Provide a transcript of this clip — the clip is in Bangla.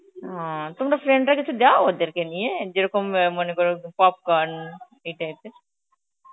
হম তোমরা friend রা কিছু দাও ওদেরকে নিয়ে, যেরকম অ্যাঁ মনে কর popcorn এই type এর?